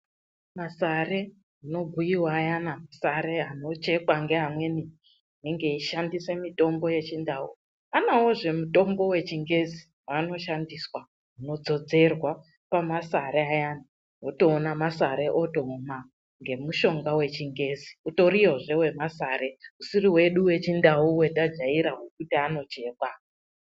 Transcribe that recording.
Masare anobhuyiwa ayana masare anochekwa ngeamweni anenge eishandise mitombo yechiNdau anaoozve mutombo wechingezi waanoshandiswa, unodzodzerwa pamasare ayani wotoona masare otooma, ngemushonga wechingezi, utoriyozve wemasari, usiri wedu wechiNdau watajaira uyu wìekuti anochekwa.